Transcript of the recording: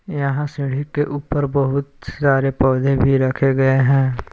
यहां सीढ़ी के ऊपर बहुत सारे पौधे भी रखे गए हैं।